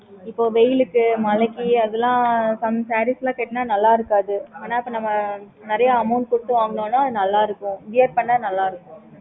இப்போ வெயில்க்கு மழைக்கு அதுல some sarees லாம் கட்டுன நல்லாயிருக்காது ஆனா இப்போ நம்ப நிறைய amount குடுத்து வாங்குனோம்னா நல்லாயிருக்கும் wear பண்ண நல்லாயிருக்கும்